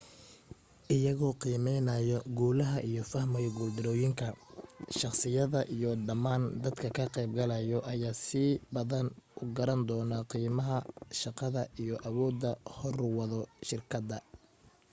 iyagoo qiimeynaayo guulaha iyo fahmayo guul darooyinka shakhsiyada iyo dhamaan dadka ka qayb galaayo ayaa si badan u garan doono qiimaha shaqada iyo awoodaha hor wado shirkadda